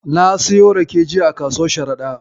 Na siyo rake jiya a kasuwar Sharaɗa.